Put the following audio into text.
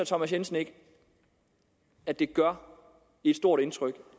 thomas jensen ikke at det gør et stort indtryk